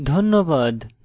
ধন্যবাদ